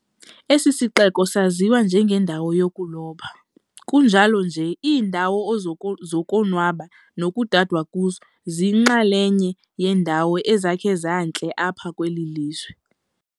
Esi sixeko saziwa njengendawo yokuloba, kunjalo nje iindawo zokonwaba nekudadwa kuzo ziyinxalenye yeendawo ezakhe zantle apha kweli lizwe.